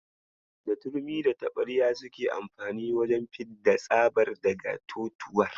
Da turmi da taɓarya suke amfani wajen fidda tsabar daga totuwar.